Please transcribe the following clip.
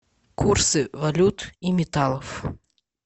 курсы валют и металлов